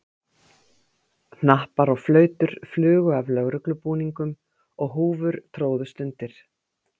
Hnappar og flautur flugu af lögreglubúningum og húfur tróðust undir.